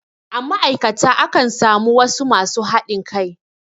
A ma'aikata akan samu wasu masu haɗin kai.